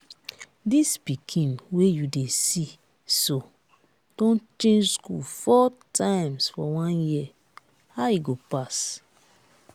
dis pikin wey you dey see so don change school four times for one year how e go pass?